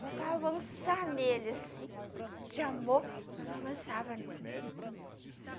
Faltava avançar nele, assim, de amor, mas não avançava, não.